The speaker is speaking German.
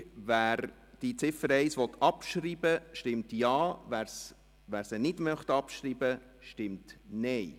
Wer die Ziffer 1 abschreiben will, stimmt Ja, was dies nicht will, stimmt Nein.